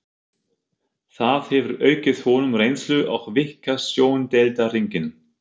Það hefur aukið honum reynslu og víkkað sjóndeildarhringinn.